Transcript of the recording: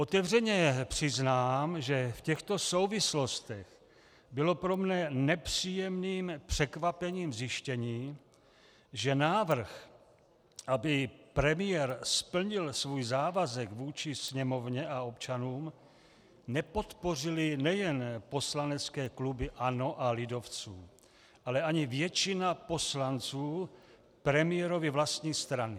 Otevřeně přiznám, že v těchto souvislostech bylo pro mne nepříjemným překvapením zjištění, že návrh, aby premiér splnil svůj závazek vůči Sněmovně a občanům, nepodpořily nejen poslanecké kluby ANO a lidovců, ale ani většina poslanců premiérovy vlastní strany.